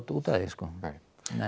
út af því sko nei